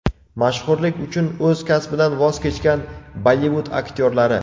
Mashhurlik uchun o‘z kasbidan voz kechgan Bollivud aktyorlari .